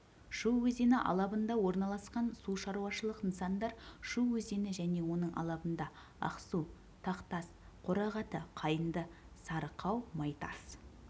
шу өзені алабында орналасқан су шаруашылық нысандар шу өзені және оның алабында ақсу тақтас қорағаты қайыңды сарықау майтас